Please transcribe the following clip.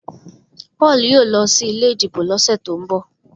Paul yóò ló sí ilé ìdìbò ló sẹ to'n bọ